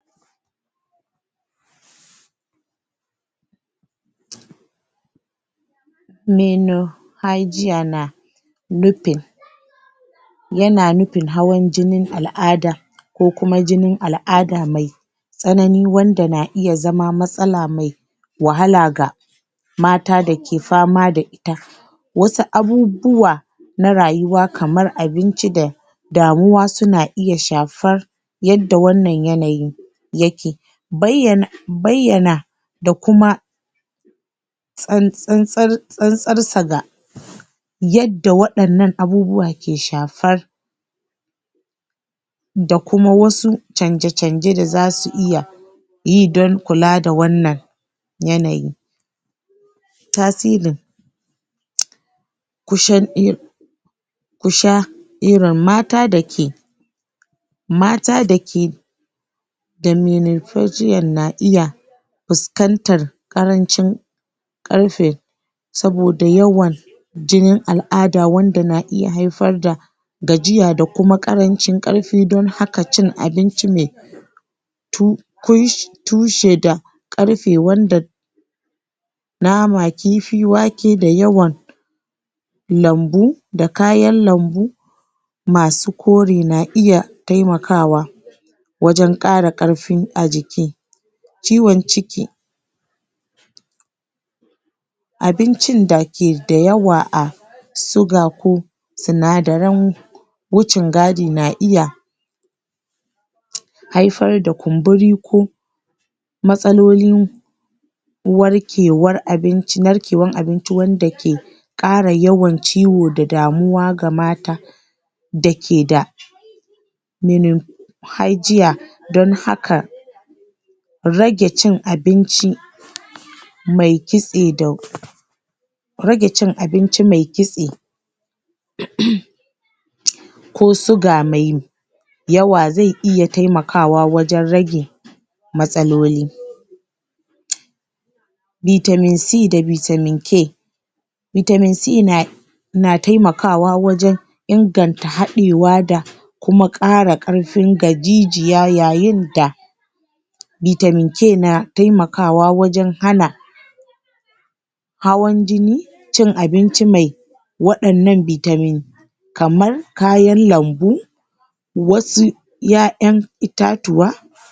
menorrhagia na nufin yana nufin hawan jinin al'ada ko kuma jinin al'ada me tsanani wanda na iya zama matsala me wahala ga mata dake fama da ita wasu abubuwa na rayuwa kamar abinci da damuwa suna iya shafar yanda wannan yanayi yake bayyana bayyana da kuma tsan-tsar tsan-tsar sa ga yadda waɗannan abubuwa ke shafar da kuma wasu canje-canje da zasu iya yi dan kula da wannan yanayi tasiri ku sha irin mata da ke mata da ke menorrhagia na iya fuskantar ƙarancin ƙarfe saboda yawan jinin al'ada wanda na iya haifar da gajiya da kuma ƙarancin ƙarfi don haka cin abinci me tushe da ƙarfe wanda nama kifi wake da yawan lambu da kayan lambu masu kore na iya temakawa wajen ƙara ƙarfi a jiki ciwon ciki abincin da ke da yawa a suga ko sinadarin wucin gadi na iya haifar da kumburi ko matsalolin narkewar abinci wanda ke ƙara yawan ciwo da damuwa ga mata da ke da menorrhagia dan haka rage cin abinci me kitse da rage cin abinci me kitse ko suga mai yawa ze iya temakawa wajen rage matsaloli vitamin C da vitamin K vitamin C na na temakawa wajen inganta haɗewa da kuma ƙara ƙarfi ga jijiya yayin da vitamin K na temakawa wajen hana hawan jini cin abinci me waɗannan vitamin kaman kayan lambu wasu ƴaƴan itatuwa